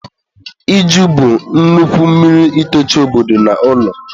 iju bụ nnukwu mmiri itochi obodo na ụlọ.